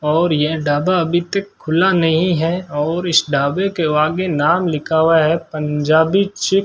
और यह ढाबा अभी तक खुला नहीं है और इस ढाबे के आगे नाम लिखा हुआ है पंजाबी चे --